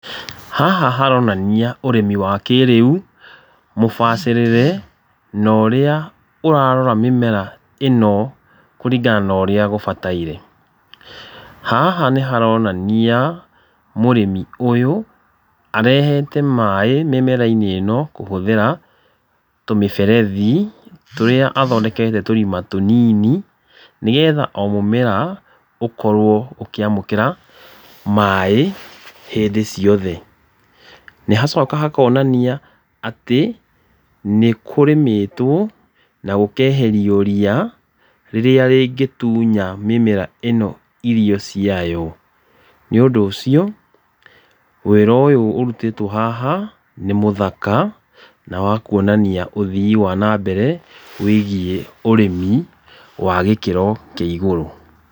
Haha haronania ũrĩmi wa kĩrĩu, mũbacĩrĩre, norĩa ũrarora mĩmera ĩno kũringana norĩa gũbataire, haha nĩ haronania mũrĩmi ũyũ arehete maĩ mĩmera-inĩ ĩno kũhũthĩra tũmĩberethi, tũrĩa athondekete túrima tũnini, nĩgetha o mũmera ũkorwo ũkĩamũkĩra maĩ hĩndĩ ciothe, nĩ hacoka hakonania atĩ, nĩ kũrĩmĩtwo na gũkeherio ria, rĩrĩa rĩngĩtunya mĩmera ĩno irio ciayo, nĩũndũ ũcio, wĩra ũyũ ũrutĩtwo haha, nĩ mũthaka, na wa kuonania ũthii wa na mbere wĩgiĩ ũrĩmi, wa gĩkĩro kĩa gũrũ.